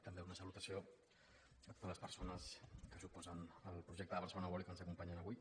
també una salutació a totes les persones que s’oposen al projecte de barcelona world i que ens acompanyen avui